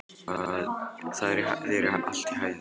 Gangi þér allt í haginn, Sólon.